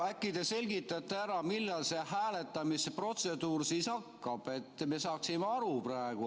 Äkki te selgitate ära, millal see hääletamise protseduur siis hakkab, et me saaksime aru?